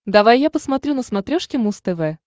давай я посмотрю на смотрешке муз тв